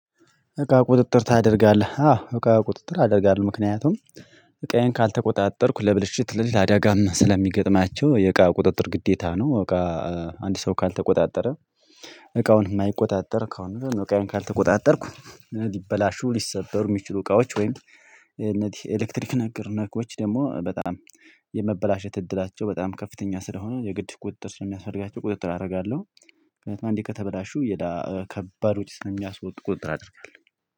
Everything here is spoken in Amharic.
እቃ ቁጥጥር ታደርጋለህ አዎ እቃ ቁጥጥር አደርጋለሁ ምክንያቱም እቃዬን ካልተቆጣጠርኩ ለብልሽት ለአደጋም ስለሚገጥማቸው የእቃ ቁጥጥር ግዴታ ነው። እቃ አንድ ሰው ካልተቆጣጠረ እቃውን የማይቆጣጠር ከሆነ ነው። እቃውን ካልተቆጣጠርኩ ሊበላሹ ሊሰበሩ የሚችሉ እቃዎች ወይም እነዚህ ኤሌክትሪክ ነገር ነኮች ደግሞ በጣም የመበላሸት እድላቸው በጣም ከፍተኛ ስለሆኑ የግድ ቁጥጥር ስለሚያስፈልጋቸው ቁጥጥር አደርጋለሁ። ከዛ አንዴ ከተበላሹ ከባድ ወጪ ስለሚያስወጡ ቁጥጥር አደርጋለሁኝ